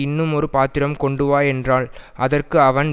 இன்னும் ஒரு பாத்திரம் கொண்டுவா என்றாள் அதற்கு அவன்